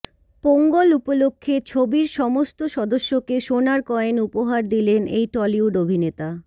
পোঙ্গল উপলক্ষ্যে ছবির সমস্ত সদস্যকে সোনার কয়েন উপহার দিলেন এই টলিউড অভিনেতা